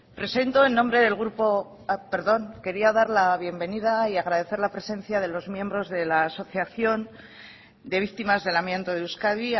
presento en nombre del grupo perdón quería dar la bienvenida y agradecer la presencia de los miembros de la asociación de víctimas del amianto de euskadi